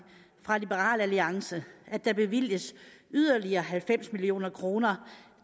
fra liberal alliance at der bevilges yderligere halvfems million kroner